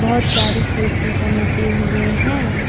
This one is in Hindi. बहुत सारी कुर्ती समेटे हुए हैं।